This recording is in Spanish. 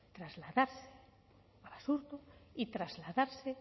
trasladarse a basurto y trasladarse